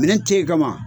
Minɛn te ye ka ban